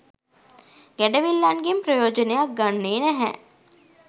ගැඩවිල්ලන්ගෙන් ප්‍රයෝජනයක් ගන්නේ නැහැ.